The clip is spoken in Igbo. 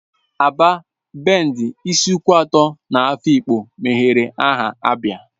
Aba, Bende, Isuikwuato na Afikpo mebere aha ABIA